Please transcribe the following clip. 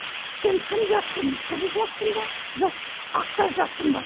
сен кім жақсың қызыл жақсың ба жоқ ақтар жақсың ба